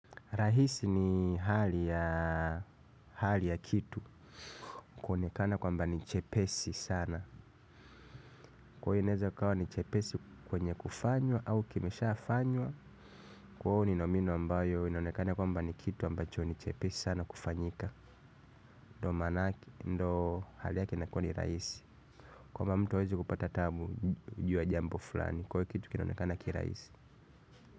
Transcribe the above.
Rahisi ni hali ya kitu. Kuonekana kwamba ni chepesi sana. Kwa hiyo inaeza kuwa ni chepesi kwenye kufanywa au kimeshafanywa. Kwa hiyo ni nomino ambayo inaonekana kwamba ni kitu ambacho ni chepesi sana kufanyika. Ndo manake, ndo hali yake inakuwa ni rahisi. Kwamba mtu hawezi kupata taabu juu ya jambo fulani. Kwa hiyo kitu kinaonekana kirahisi.